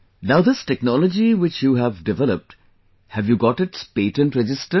Now this technology which you have developed, have you got its patent registered